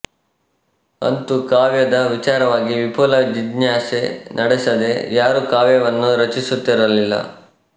ಅಂತೂ ಕಾವ್ಯದ ವಿಚಾರವಾಗಿ ವಿಪುಲ ಜಿಜ್ಞಾಸೆ ನಡೆಸದೆ ಯಾರೂ ಕಾವ್ಯವನ್ನು ರಚಿಸುತ್ತಿರಲಿಲ್ಲ